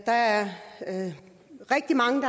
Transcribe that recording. der er rigtig mange